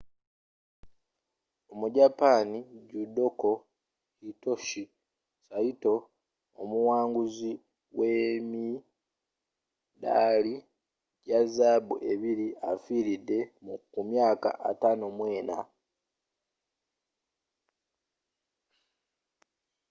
omujapani judoka hitoshi saito omuwanguzi w’emidaali gya zaabu ebiri, afiiridde ku myaka 54